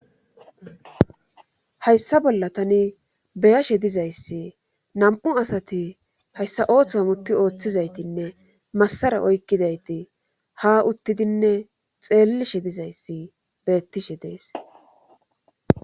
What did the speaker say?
Hayssa bolla tani beyashe dizayssi nam'u asati hayssa ooththoam utti ooththizaytinne massara oykkidayti ha uttidinne xeellishe dizayssi beettishe dees